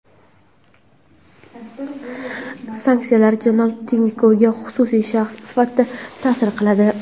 Sanksiyalar janob Tinkovga xususiy shaxs sifatida ta’sir qiladi.